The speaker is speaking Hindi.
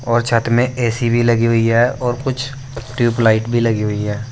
और छत में ए_सी भी लगी हुई है और कुछ ट्यूबलाइट भी लगी हुई है।